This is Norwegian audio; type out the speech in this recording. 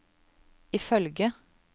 ifølge